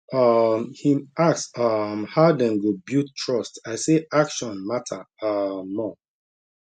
um him ask um how dem go build trust i say action matter um more